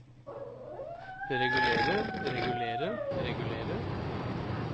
regulere regulere regulere